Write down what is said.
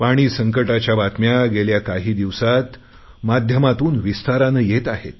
पाणी संकंटाच्या बातम्या गेल्या काही दिवसात माध्यमातून विस्ताराने येत आहेत